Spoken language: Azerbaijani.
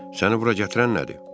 Səni bura gətirən nədir?